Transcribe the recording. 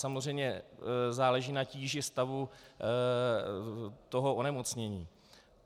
Samozřejmě záleží na tíži stavu toho onemocnění.